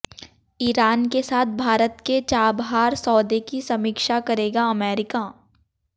Iran के साथ भारत के चाबहार सौदे की समीक्षा करेगा अमेरिका